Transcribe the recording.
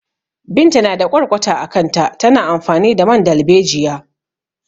Binta na da ƙwarƙwata a kanta, tana amfani da man dalbejiya.